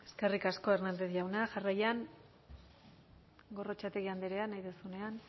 eskerrik asko hernández jauna jarraian gorrotxategi andrea nahi duzunean